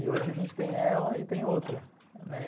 E hoje a gente tem ela e tem outra, né.